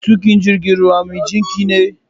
matukin jigin ruwan mijinkine?